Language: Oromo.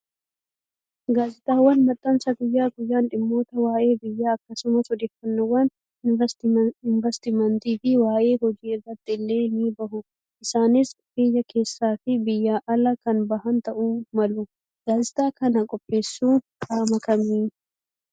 Gaazexaawwan maxxansa guyyaa guyyaan dhimmoota waayee biyyaa akkasumas odeeffannoowwan investimentii fi waayee hojii irratti illee ni bahu. Isaanis biyya keessaa fi biyya alaa kan bahan ta'uu malu. Gaazexaa kan qopheessu qaama kamii?